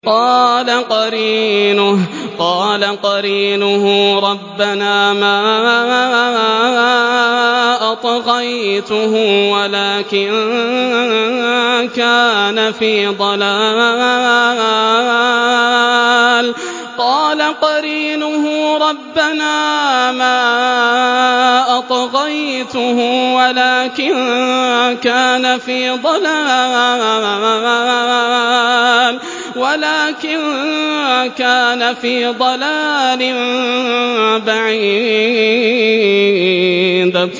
۞ قَالَ قَرِينُهُ رَبَّنَا مَا أَطْغَيْتُهُ وَلَٰكِن كَانَ فِي ضَلَالٍ بَعِيدٍ